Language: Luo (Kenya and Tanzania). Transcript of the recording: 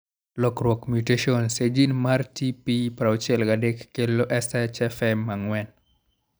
Lokruok (mutations) e gene mar TP63 kelo SHFM4.